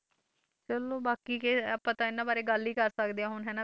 ਚਲੋ ਬਾਕੀ ਕਿ ਆਪਾਂ ਤਾਂ ਇਹਨਾਂ ਬਾਰੇ ਗੱਲ ਹੀ ਕਰ ਸਕਦੇ ਹਾਂ ਹੁਣ ਹਨਾ,